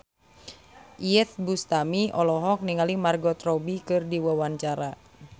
Iyeth Bustami olohok ningali Margot Robbie keur diwawancara